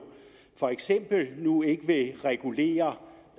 for eksempel nu ikke vil regulere